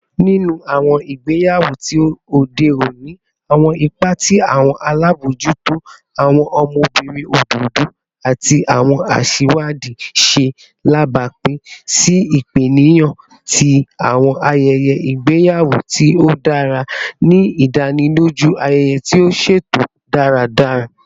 Ninu awọn igbeyawo ti ode oni, awọn ipa ti awọn alabojuto, awọn ọmọbirin ododo, ati awọn aṣiwadi ṣe alabapin si ipaniyan ti awọn ayẹyẹ igbeyawo ti o dara, ni idaniloju ayẹyẹ ti o ṣeto daradara.